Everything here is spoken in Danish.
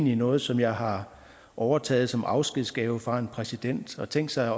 noget som jeg har overtaget som afskedsgave fra en præsident og tænk sig